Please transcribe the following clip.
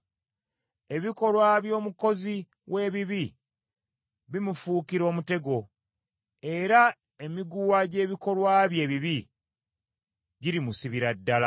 Ebikolwa by’omukozi w’ebibi bimufuukira omutego, era emiguwa gy’ebikolwa bye ebibi girimusibira ddala.